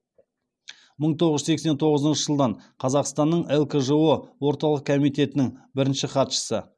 мың тоғыз жүз сексен тоғызыншы жылдан қазақстанның лкжо орталық комитетінің бірінші хатшысы